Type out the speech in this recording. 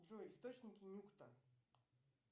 джой источники нюкта